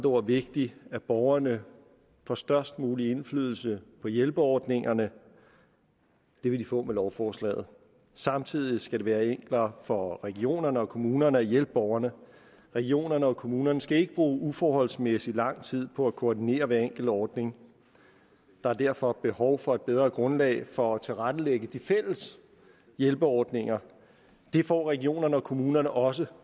ord vigtigt at borgerne får størst mulig indflydelse på hjælpeordningerne det vil de få med lovforslaget samtidig skal det være enklere for regionerne og kommunerne at hjælpe borgerne regionerne og kommunerne skal ikke bruge uforholdsmæssig lang tid på at koordinere hver enkelt ordning der er derfor behov for et bedre grundlag for at tilrettelægge de fælles hjælpeordninger det får regionerne og kommunerne også